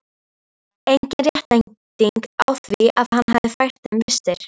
Engin réttlæting á því að hann hefði fært þeim vistir.